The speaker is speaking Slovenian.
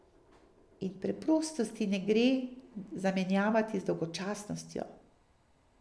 In preprostosti ne gre zamenjevati z dolgočasnostjo.